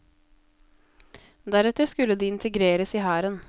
Deretter skulle de integreres i hæren.